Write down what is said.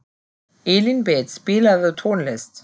Elínbet, spilaðu tónlist.